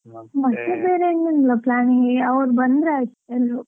ಬೇರೆ ಏನೂ ಇಲ್ಲಾ planning ಈಗ ಅವ್ರು ಬಂದರೆ ಆಯ್ತು ಎಲ್ರೂ.